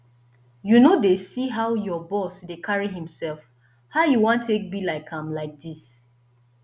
you no dey see how your boss dey carry himself how you wan take be like am like dis